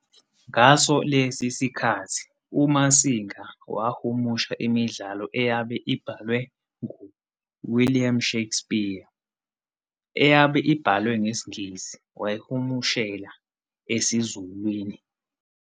Ngaso lesi sikhathi uMasinga wahumusha imidlalo eyabe ibhalwe ngu-William Shakespeare, eyabe ibhalwe ngesingisi wayihumshela esiZulwini.